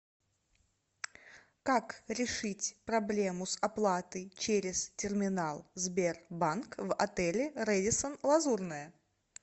как решить проблему с оплатой через терминал сбербанк в отеле рэдиссон лазурная